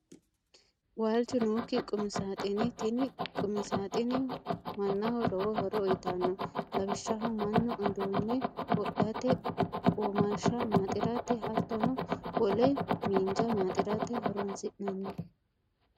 Waalichu nooki qumisaaxine, tini qumisaaxine manaho lowo horo uyitanno, lawishaho manu uduune wodhate womasha maaxirate hattone wole minjja maaxirate horonsinanni